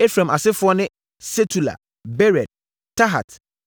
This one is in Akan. Efraim asefoɔ ne: Sutela, Bered, Tahat, Elada, Tahat,